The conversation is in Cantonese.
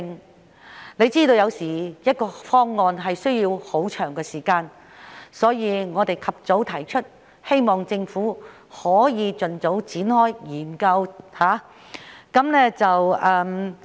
大家也知道，有時一個方案需時甚久，故此我們及早提出，希望政府可以盡早展開研究。